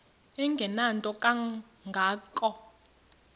engenanto kanga ko